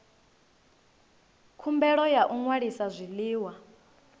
khumbelo ya u ṅwalisa zwiḽiwa